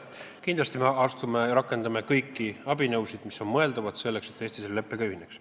Kindlasti me rakendame kõiki abinõusid, mis on mõeldavad, selleks et Eesti selle leppega ei ühineks.